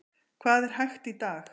Hvað er hægt í dag?